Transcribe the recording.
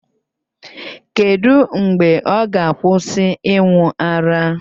Kedu mgbe ọ ga-akwụsị ịṅụ ara?